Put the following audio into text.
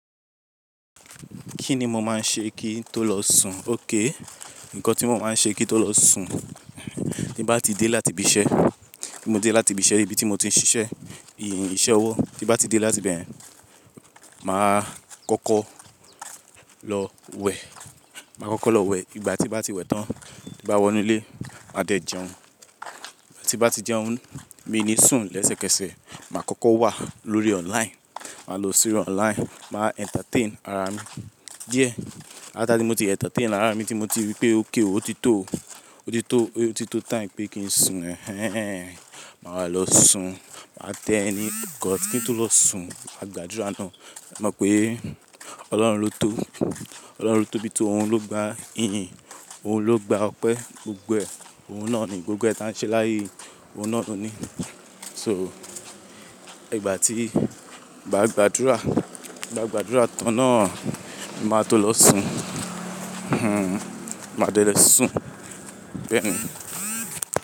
Kí ni mo máa ń ṣe kí n tó lọ sùn? Okay. Ǹkan tí mo máa ń ṣe kí n tó lọ sùn, tí bá ti dé láti ibi iṣẹ́, tí mo dé láti ibi iṣẹ́, ibi tí mo ti ń ṣiṣẹ́, ìyìn, iṣẹ́ ọwọ́, tí bá ti dé láti bẹ̀yẹn, màá kọ́kọ́ lọ wẹ̀. Màá kọ́kọ́ lọ wẹ̀. Ìgbà tí bá ti wẹ̀ tán, tí bá wọ inú ilé, màá dẹ̀ jẹun. Ìgbà tí bá ti jẹun, mí ni sùn. Lẹ́sẹ̀kẹsẹ̀, màá kọ́kọ́ wà lórí online. Màá lọ sí orí online, màá entertain ara mi. Díẹ̀, láti tí mo ti entertain ara mi tí mo ti rí pé okay, ó ti tó, ó ti tó, ó ti tó time pé kí n sùn. Ẹhẹ́n, màá lọ sùn. Màá tẹ ni Ǹkan kí n tó lọ sùn, máa gbàdúrà ná. Mọ̀ pé Ọlọ́run ló tó, Ọlọ́run ló tó bí tó, òun ló gba ìyìn, òun ló gba ọpẹ́, gbogbo ẹ̀, òun náà ni gbogbo ẹ́ tán iṣẹ́ láàyè, òun náà ló ní. So, ìgbà tí, mà gbàdúrà, mà gbàdúrà tán náà, màá tó lọ sùn. Hm, màá dẹ̀ lo sùn. Bẹ́ẹ̀ ni.